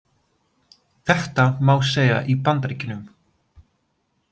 Þetta má segja í Bandaríkjunum.